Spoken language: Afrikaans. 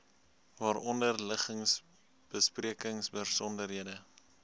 waaronder liggings besprekingsbesonderhede